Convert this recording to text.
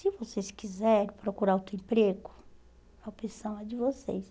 Se vocês quiserem procurar outro emprego, a opção é de vocês.